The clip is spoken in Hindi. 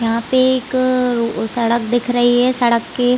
यहाँ पे एक अ रो सड़क दिख रही है। सड़क के--